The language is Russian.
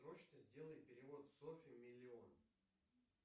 срочно сделай перевод софье миллион